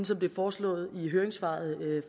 som det er foreslået i høringssvaret